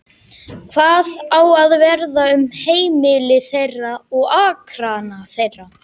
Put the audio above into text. Hvað á að verða um heimili þeirra og akrana þeirra?